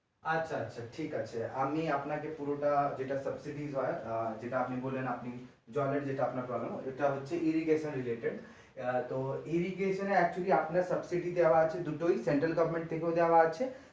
আচ্ছা আচ্ছা ঠিক আছে আমি আপনাকে পুরোটা যেটা subsidy হয় যেটা আপনি বললেন জলের যেটা আপনার problem irrigation related এই যে এখানে actually আপনার subsidy দেওয়া আছে দুটোই central government থেকেও দেওয়া আছে।